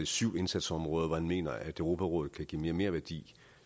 syv indsatsområder hvor han mener at europarådet kan give merværdi